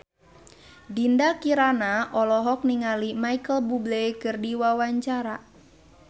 Dinda Kirana olohok ningali Micheal Bubble keur diwawancara